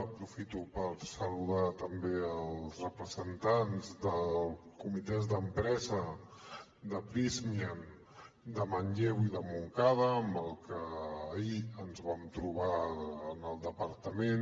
aprofito per saludar també els representants dels comitès d’empresa de prysmian de manlleu i de montcada amb els quals ahir ens vam trobar en el departament